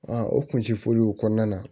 o kun ti fɔliw kɔnɔna na